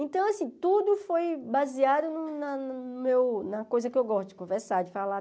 Então, assim, tudo foi baseado na no meu na coisa que eu gosto de conversar, de falar.